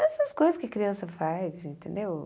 Essas coisas que criança faz, entendeu?